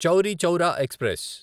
Chauri Chaura express